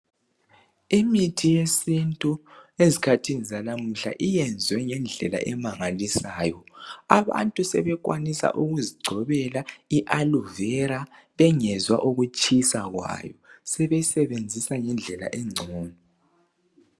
Imithi yesintu ezikhathini zanamuhla iyenzwe ngendlela emangalisayo abantu sebekwanisa ukuzigcobela i aloevera bengezwa ukutshisa kwayo sebesebenzisa ngendlela engcono